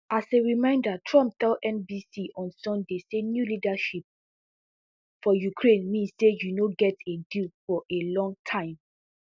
as a reminder trump tell nbc on sunday say new leadership [for ukraine] mean say you no go get a deal for a long time